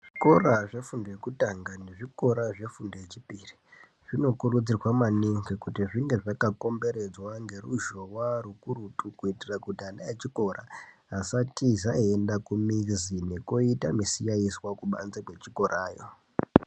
Zvikora zvefundo yekutanga nezvikora zvefundo yechipiri zvinokurudzirwa maningi kuti zvinge zvakakomberedzwe ngeruzhowa rukurutu kuitire kuti ana echikora asatiza eiende kumizi nekoite misikaizwa kubanze kwechikorayo.